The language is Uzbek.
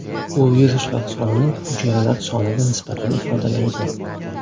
U viruslar sonining hujayralar soniga nisbatini ifodalaydi.